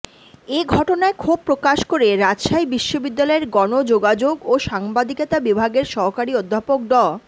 এ ঘটনায় ক্ষোভ প্রকাশ করে রাজশাহী বিশ্ববিদ্যালয়ের গণযোগাযোগ ও সাংবাদিকতা বিভাগের সহকারী অধ্যাপক ড